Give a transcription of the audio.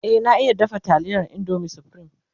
e na iya dafa taliyar indomin supreme